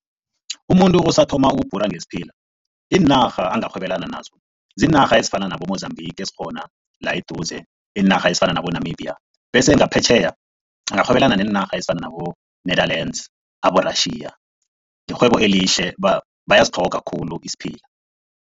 Umuntu osathoma ukubhora ngesiphila, iinarha angarhwebelana nazo ziinarha ezifana nabo-Mozambique ezikhona la eduze iinarha ezifana nabo-Namibia bese ngaphetjheya angarhwebelana neenarha ezifana nabo-Netherlands, abo-Russia, lirhwebo elihle bayasitlhoga khulu isiphila.